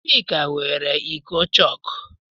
Chika weere iko chọọkụ.